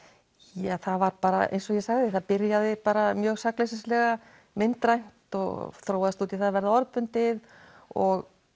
ja það var bara eins og ég sagði byrjaði mjög myndrænt og þróaðist út í það að vera orðbundið og